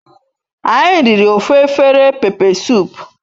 Anyi riri ofu afere pepe sup